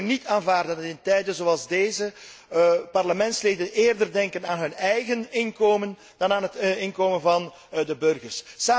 Wij kunnen niet aanvaarden dat in tijden zoals deze parlementsleden eerder denken aan hun eigen inkomen dan aan het inkomen van de burgers.